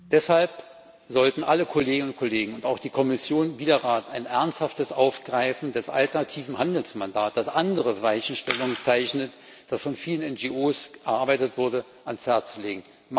Deshalb sollten sich alle Kolleginnen und Kollegen und auch die Kommission und der Rat ein ernsthaftes Aufgreifen des alternativen Handelsmandats, das andere Weichenstellungen zeichnet, das von vielen NGO erarbeitet wurde, zu Herzen nehmen.